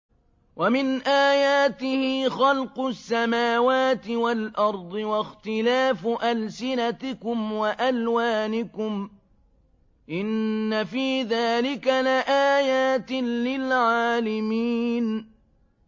وَمِنْ آيَاتِهِ خَلْقُ السَّمَاوَاتِ وَالْأَرْضِ وَاخْتِلَافُ أَلْسِنَتِكُمْ وَأَلْوَانِكُمْ ۚ إِنَّ فِي ذَٰلِكَ لَآيَاتٍ لِّلْعَالِمِينَ